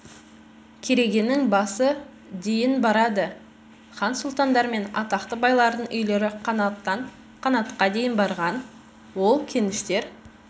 керегенің басы дейін барады хан сұлтандар мен атақты байлардың үйлері қанаттан қанатқа дейін барған ол кеніштер